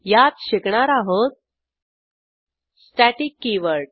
यात शिकणार आहोत स्टॅटिक कीवर्ड